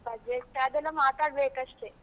Budget , ಅದೆಲ್ಲ ಮಾತಾಡ್ಬೇಕಷ್ಟೆ.